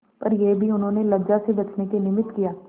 पर यह भी उन्होंने लज्जा से बचने के निमित्त किया